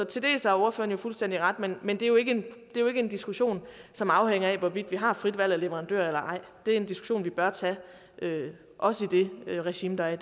til dels har ordføreren fuldstændig ret men men det er jo ikke en diskussion som afhænger af hvorvidt vi har frit valg af leverandør eller ej det er en diskussion vi bør tage også i det regime der